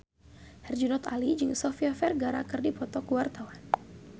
Herjunot Ali jeung Sofia Vergara keur dipoto ku wartawan